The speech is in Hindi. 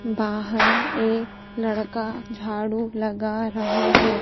बाहर एक लड़का झाड़ू लगा रहा है।